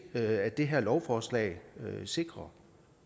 at det her lovforslag sikrer